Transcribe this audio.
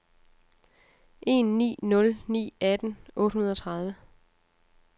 en ni nul ni atten otte hundrede og tredive